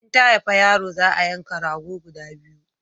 In ta haifa yaro za a yanka rago guda biyu